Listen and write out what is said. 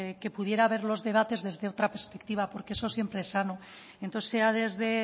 que pudiera ver los debates desde otra perspectiva porque eso siempre es sano entonces sea desde